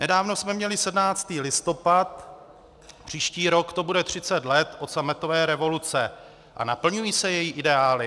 Nedávno jsme měli 17. listopad, příští rok to bude 30 let od sametové revoluce, a naplňují se její ideály?